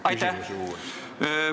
Aitäh!